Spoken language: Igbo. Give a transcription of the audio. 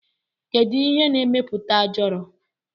Kedu ihe na emeputa ajọrọ?